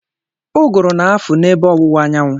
Ụgụrụ na-afụ n'ebe ọwụwa anyanwụ.